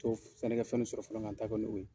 sani n ka fɛn dɔ sɔrɔ fɔlɔ ka n ta kɛ n'o ye.